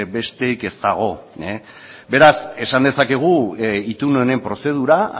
besterik ez dago beraz esan dezakegu itun honen prozedura